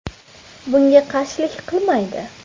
Bunga qarshilik qilmaydi.